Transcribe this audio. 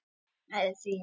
Ég bý að því enn.